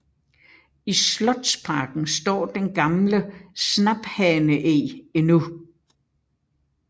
I slotsparken står den gamle snaphaneeg endnu